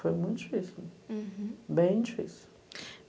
Foi muito difícil, uhum, bem difícil.